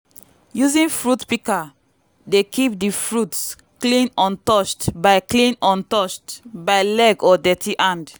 fruit pikas dey reduce labour cost by allowing one person to collect plenty fruits alone.